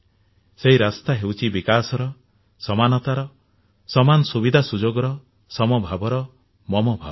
ସେହି ରାସ୍ତା ହେଉଛି ବିକାଶର ସମାନତାର ସମାନ ସୁବିଧା ସୁଯୋଗର ସମଭାବର ମମ ଭାବର